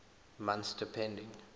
months depending